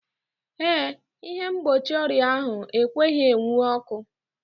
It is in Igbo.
Eh, ịhe mgbochi ọrịa ahụ ekweghị enwu ọkụ.